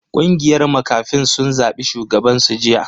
Kungiyar makafin sun zabi shugaban su jiya.